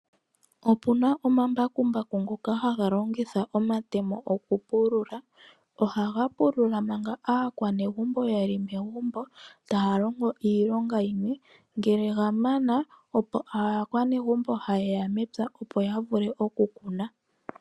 Opuna omambakumbaku ngoka haga longitha omatemo oku pulula. Ohaga pulula manga aakwanegumbo yeli megumbo taya longo iilonga yile, ngele ga mana, opo aakwanegumbo haye ya mepya opo ya vule oku kuna.